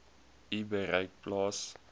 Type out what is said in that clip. u bereik plaas